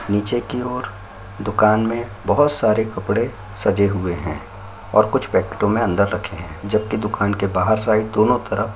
नीचे की ओर दुकान में बहोत सारे कपड़े सजे हुए हैं और कुछ पैकेटों मे अंदर रखे है जबकि दुकान की बाहर साइड दोनो तरफ--